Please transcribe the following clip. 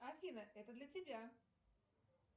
афина это для тебя